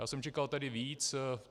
Já jsem čekal tedy víc.